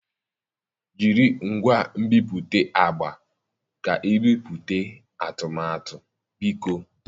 Jiri ngwa nbipute agba ka ibipụta atụmatụ, biko.